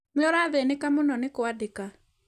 Nĩ ũrathĩnĩka mũno nĩ kwandĩka.